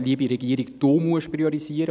«Liebe Regierung, du musst priorisieren!»